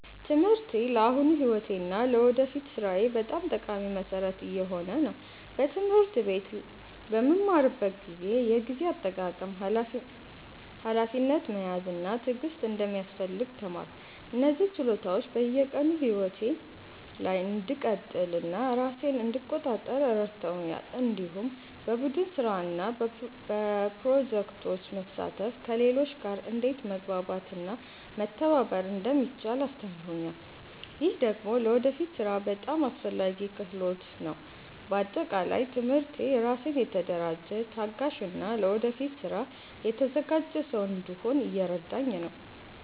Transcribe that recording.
ትምህርቴ ለአሁኑ ሕይወቴ እና ለወደፊት ሥራዬ በጣም ጠቃሚ መሠረት እየሆነ ነው። በትምህርት ቤት በምማርበት ጊዜ የጊዜ አጠቃቀም፣ ሀላፊነት መያዝ እና ትዕግስት እንደሚያስፈልግ ተማርኩ። እነዚህ ችሎታዎች በየቀኑ ሕይወቴ ላይ እንድቀጥል እና ራሴን እንድቆጣጠር ረድተውኛል። እንዲሁም በቡድን ስራ እና በፕሮጀክቶች መሳተፍ ከሌሎች ጋር እንዴት መግባባት እና መተባበር እንደሚቻል አስተምሮኛል። ይህ ደግሞ ለወደፊት ሥራ በጣም አስፈላጊ ክህሎት ነው። በአጠቃላይ ትምህርቴ ራሴን የተደራጀ፣ ታጋሽ እና ለወደፊት ስራ የተዘጋጀ ሰው እንድሆን እየረዳኝ ነው።